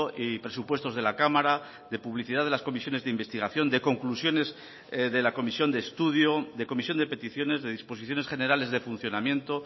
y presupuestos de la cámara de publicidad de las comisiones de investigación de conclusiones de la comisión de estudio de comisión de peticiones de disposiciones generales de funcionamiento